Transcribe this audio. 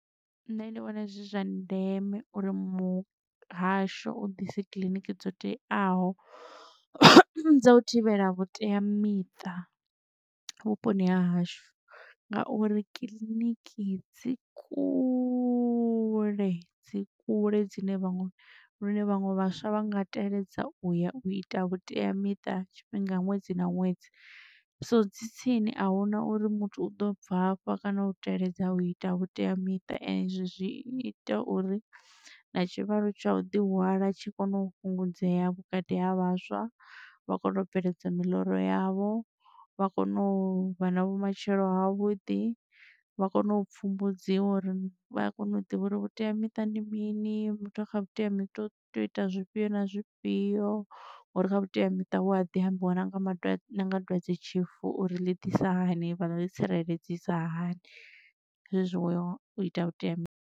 Nṋe ndi vhona zwi zwa ndeme uri muhasho u ḓise kiḽiniki dzo teaho dza u thivhela vhuteamiṱa vhuponi ha hashu ngauri kiḽiniki dzi kule dzi kule dzine vha ngo lune vhaṅwe vhaswa vha nga teledza uya u ita vhuteamiṱa tshifhinga ṅwedzi na ṅwedzi. So dzi tsini ahuna uri muthu u ḓo bvafha kana u teledza u ita vhuteamiṱa ezwo zwi ita uri na tshivhalo tsha u ḓi hwala tshi kone u fhungudzea vhukati ha vhaswa vha kone u bveledza miḽoro yavho vha kone u vha na vhumatshelo ha vhuḓi vha kone u pfumbudziwa uri vha kone u ḓivha uri vhuteamiṱa ndi mini. Muthu a kha vhuteamiṱa u to ita zwifhio na zwifhio ngauri kha vhuteamiṱa hu a ḓi ambiwa na nga dwadze tshifu uri ḽi ḓisa hani vhano ḽi tsireledzisa hani zwezwi ukhou ḓi ita vhuteamiṱa.